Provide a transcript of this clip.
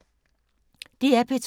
DR P2